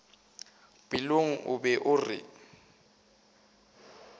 pelong o be a re